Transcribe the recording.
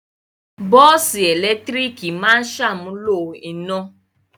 Bọ́ọ́sì ẹ̀lẹ́tíríkì máa ṣàmúlò iná.